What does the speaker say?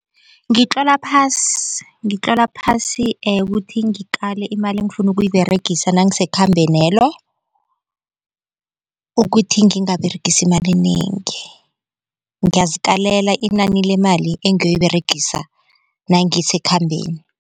Ngitlola phasi ngitlola phasi ukuthi ngikale imali engifunda ukuyiberegisa nangisekhambenelo ukuthi ngingaberegisi imali enengi ngiyazikalela inani lemali engiyoyiberegisa nangisekhambeni.